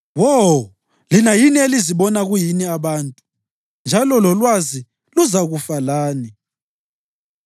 “Wo, lina yini elizibona kuyini abantu, njalo lolwazi luzakufa lani!